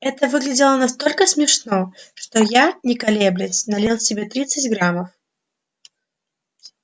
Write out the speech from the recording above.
это выглядело настолько смешно что я не колеблясь налил себе тридцать граммов